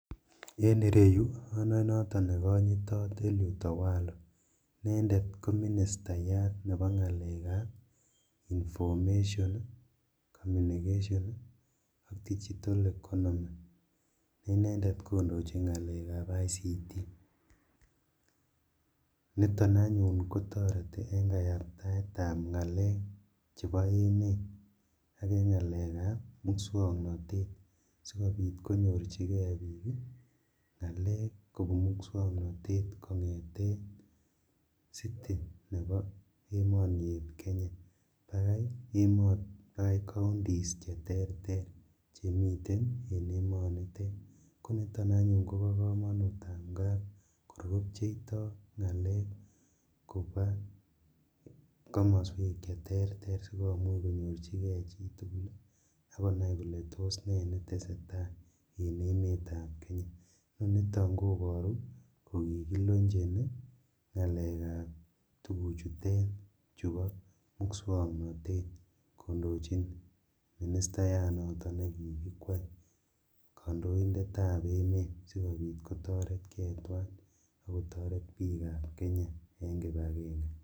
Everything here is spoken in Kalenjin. En ireyu onoe noton nekonyitot Eliud Owalo inendet koministayat nebo ngalekab information ii ,communication ii ak digital economy ne inendet kondojin ngalekab ICT, niton anyuun kotoreti en kayabtaetab ngalek chebo emet ak en ngalekab muswoknotet sikobit konyorjigee bik ngalek kobun muswoknotet kongeten City nebo emoni eeb Kenya vakau counties cheterter chemiten en emonitet koniton anyun kobo komonut angap kor kopcheito ngalek kobaa komoswek cheterter sikomuch konyorjigee chitugul ak konai kole tos nee netesetaa en emetab Kenya, noniton koboru kokikiloncheni ngalekab tufuchutet chubo muswoknotet kondojin ministayat noton nekikikwai kondoindetab emet sikobit kotoret gee twan akotoret bikab k Kenya en kipagenge.